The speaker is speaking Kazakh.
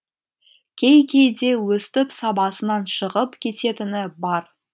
кей кейде өстіп сабасынан шығып кететіні бар